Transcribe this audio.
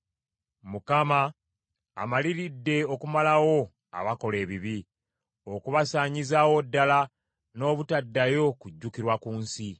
Mukama amaliridde okumalawo abakola ebibi, okubasaanyizaawo ddala n’obutaddayo kujjukirwa ku nsi.